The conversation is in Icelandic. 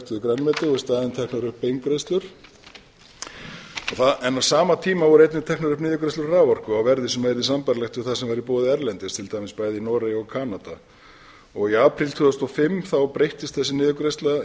teknar upp beingreiðslur en á sama tíma voru einnig teknar upp niðurgreiðslur á raforku á verði sem yrði sambærilegt við það sem væri í boði erlendis til dæmis bæði í noregi og kanada í apríl tvö þúsund og fimm breyttist þessi niðurgreiðsla